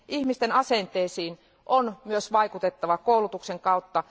Ihmisten asenteisiin on myös vaikutettava koulutuksen kautta.